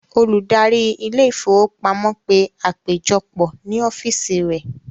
Olùdarí ilé-ìfowópamọ́sí pe àpéjọpọ̀ ní ọ́físì rẹ̀.